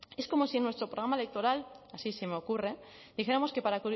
es como si en nuestro programa electoral así se me ocurre dijéramos que para